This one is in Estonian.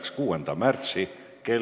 Siin suures istungisaalis kohtume homme kell 13.